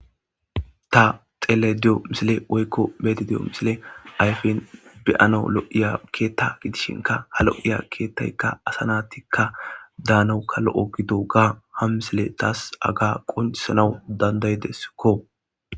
Ta xeelashe di'iza misile woyko be'ayda de'iyo misile ayfen be'anawu lo'iya keetha gidishinka ha lo'iya keethayka asa naatika daanawuka lo'o gidoga ha misile tas haga qochisanawu danda'idesko.